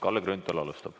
Kalle Grünthal alustab.